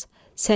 Səlim!